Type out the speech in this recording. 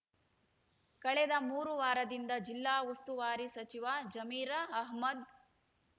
ಕಳೆದ ಮೂರು ವಾರದಿಂದ ಜಿಲ್ಲಾ ಉಸ್ತುವಾರಿ ಸಚಿವ ಜಮೀರ ಅಹ್ಮದ